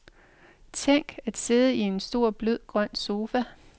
Tænk, at sidde i en stor blød grøn sofa.